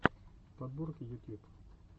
подборки ютьюб